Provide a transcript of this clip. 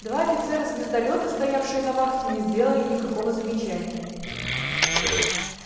два офицера звездолёта стоявшие на вахте не сделали никакого замечания